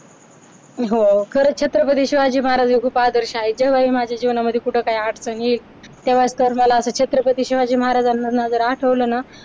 खरंच छत्रपती शिवाजी महाराज हे आदर्श आहेत केव्हाही माझ्या जीवनामध्ये कुठे काही अडचणी तेव्हा तर मला छत्रपती शिवाजी महाराजांवर न जर आठवलं ना